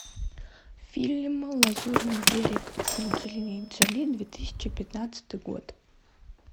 фильм лазурный берег с анджелиной джоли две тысячи пятнадцатый год